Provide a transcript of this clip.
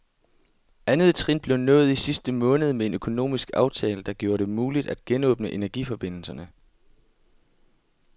Andet trin blev nået i sidste måned med en økonomisk aftale, der gjorde det muligt at genåbne energiforbindelserne.